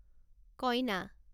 কইনা